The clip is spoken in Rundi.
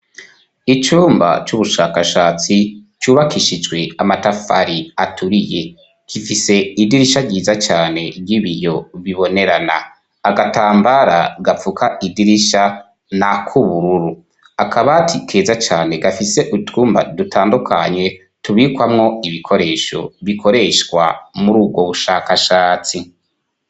Icumba c'ubushakashatsi cubakishijwe amatafari aturiye, gifise idirisha ryiza cane ry'ibiyo bibonerana, agatambara gapfuka idirisha n'akubururu, akabati keza cane gafise itwumba dutandukanye tubikwamwo ibikoresho bikoreshwa mur'ubwo bushakashatsi.